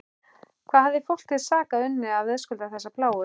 Hvað hafði fólk til sakar unnið að verðskulda þessa plágu?